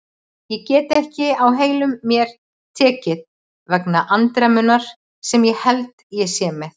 Ég get ekki á heilum mér tekið vegna andremmunnar sem ég held ég sé með.